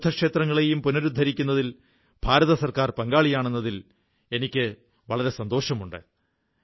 പല ബുദ്ധ ക്ഷേത്രങ്ങളും പുനരുദ്ധരിക്കുന്നതിൽ ഭാരത സർക്കാർ പങ്കാളിയാണെന്നതിൽ എനിക്ക് വളരെ സന്തോഷമുണ്ട്